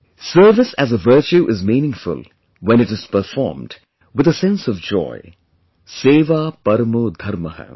Service as a virtue is meaningful when it is performed with a sense of joy'Seva Parmo Dharmah'